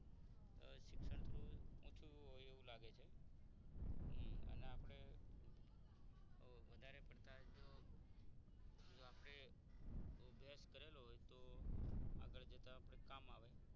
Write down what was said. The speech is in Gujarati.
શિક્ષણ થોડું ઓછું હોય એવું લાગે છે અને આપણે વધારે પડતા જ જો આપણે અભ્યાસ કરેલો હોય તો આગળ જતા આપણે કામ આવે